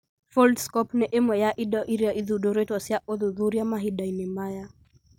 Foldscope nĩ ĩmwe ya indo iria ithundũrĩtwo cia ũthuthuria mahinda-inĩ maya